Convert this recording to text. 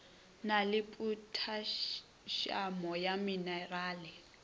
na le phothasiamo ya menerale